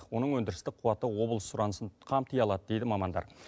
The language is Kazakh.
оның өндірістік қуаты облыс сұранысын қамти алады дейді мамандар